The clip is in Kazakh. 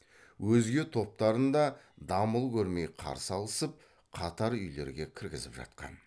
өзге топтарын да дамыл көрмей қарсы алысып қатар үйлерге кіргізіп жатқан